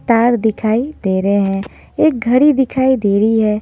तार दिखाई दे रहे हैं एक घड़ी दिखाई दे रही है।